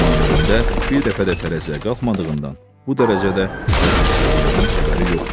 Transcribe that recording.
amma ömründə bir dəfə də tərəziyə qalxmadığından, bu dərəcədə vəzinsizliyindən xəbəri yoxdu.